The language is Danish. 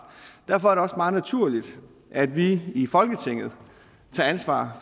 derfor er det også meget naturligt at vi i folketinget tager ansvar